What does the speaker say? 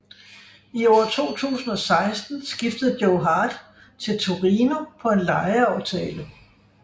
I år 2016 skiftede Joe Hart til Torino på en lejeaftale